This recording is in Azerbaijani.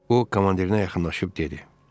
O, komandirinə yaxınlaşıb dedi: